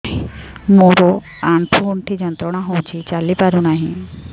ମୋରୋ ଆଣ୍ଠୁଗଣ୍ଠି ଯନ୍ତ୍ରଣା ହଉଚି ଚାଲିପାରୁନାହିଁ